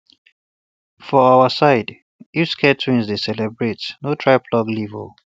for um our side if sacred twins dey celebrate no try pluck leaf o